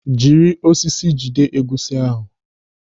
Jiri osisi jide egusi ahụ!